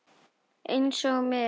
Einsog mig.